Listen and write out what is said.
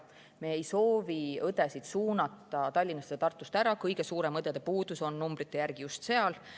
Me ei soovi õdesid suunata Tallinnast või Tartust ära, kõige suurem õdede puudus on numbrite järgi just seal.